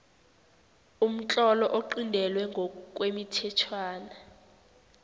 umtlolo oqintelwe ngokwemithetjhwana